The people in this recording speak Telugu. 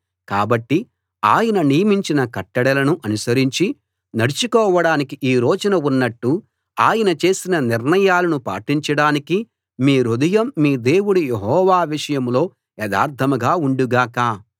కాబట్టి ఆయన నియమించిన కట్టడలను అనుసరించి నడుచుకోడానికి ఈ రోజున ఉన్నట్టు ఆయన చేసిన నిర్ణయాలను పాటించడానికి మీ హృదయం మీ దేవుడు యెహోవా విషయంలో యథార్థంగా ఉండుగాక